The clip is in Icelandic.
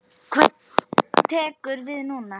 Hvað tekur við núna?